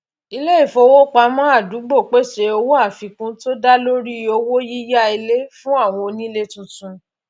iléifowopamọ àdúgbò pèsè owó àfikún tó dá lórí owó yíyá ilé fún àwọn onílé tuntun